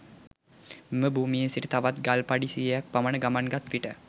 මෙම භූමියේ සිට තවත් ගල් පඩි සියයක් පමණ ගමන් ගත් විට